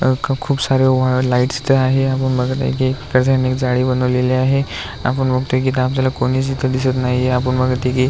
अ ख खूप साऱ्या वा लाइट्स त्या आहे आपण बघत आहे की इथंच यांनी जाळी बनवलेली आहे. आपण बघतोय की का आपल्याला कोणीच इथ दिसत नाहिये. आपण --